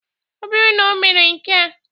Ọ bụrụ na omere nkea